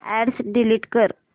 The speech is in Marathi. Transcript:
अॅड्रेस डिलीट कर